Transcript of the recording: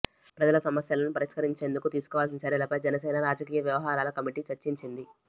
ప్రజల సమస్యలను పరిష్కరించేందుకు తీసుకోవాల్సిన చర్యలపై జనసేన రాజకీయ వ్యవహారాల కమిటీ చర్చించింది